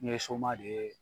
Ne ye soma de ye